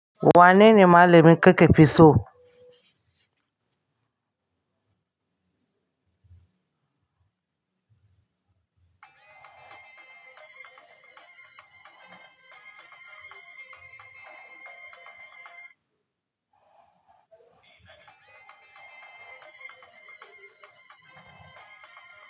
Wanene malamin ka ka fi so?